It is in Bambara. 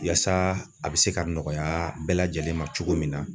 Yaasa a bɛ se ka nɔgɔya bɛɛ lajɛlen ma cogo min na